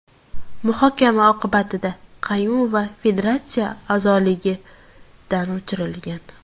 Muhokama oqibatida Qayumova federatsiya a’zoligidan o‘chirilgan.